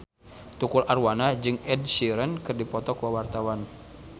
Tukul Arwana jeung Ed Sheeran keur dipoto ku wartawan